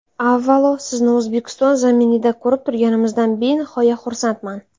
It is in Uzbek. Avvalo, sizni O‘zbekiston zaminida ko‘rib turganimizdan benihoya xursandman.